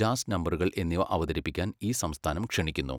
Jazz നമ്പറുകൾ എന്നിവ അവതരിപ്പിക്കാൻ ഈ സംസ്ഥാനം ക്ഷണിക്കുന്നു.